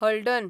हळडण